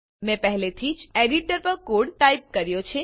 મેં પહેલાથી જ એડીટર પર કોડ ટાઈપ કર્યો છે